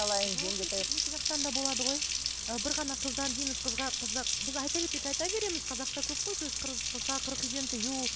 екі жақтан да болады ғой і бір ғана қыздан дейміз қызға қызда біз айта берсек айта береміз қазақта көп қой сөз қызға қырық үйден тыю